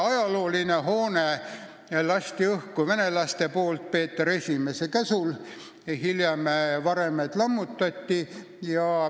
Ajaloolise hoone lasid õhku venelased aastal 1708 Peeter I käsul, hiljem varemed lammutati.